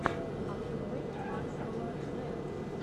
открой максвелла рэн